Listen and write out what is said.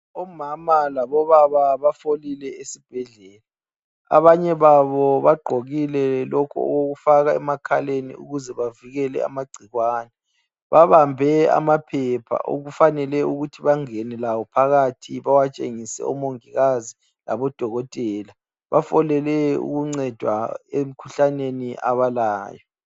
Omama labobaba bafolile esibhedlela. Abanye babo bagqokile lokhu okokufaka emakhaleni ukuze bavikele amagcikwane. Babambe amaphepha okufanele ukuthi bangene lawo phakathi bawatshengise omongikazi labodokotela. Bafolele ukuncedwa emikhuhlaneni abalayo.